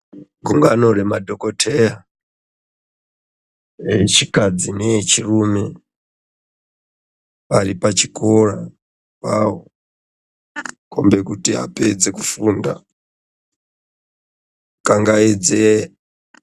Gungano remadhokoteya echikadzi neechirume varipachikora pawo kombe kuti apedze kufunda. Kangaidze...